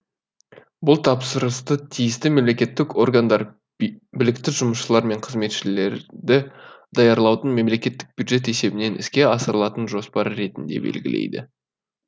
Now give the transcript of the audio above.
бұл тапсырысты тиісті мемлекттік органдар білікті жұмысшылар мен қызметшілерді даярлаудың мемлекттік бюджет есебінен іске асырылатын жоспары ретінде белгілейді